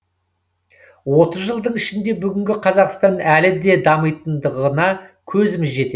отыз жылдың ішінде бүгінгі қазақстан әлі де дамитындығына көзіміз жетеді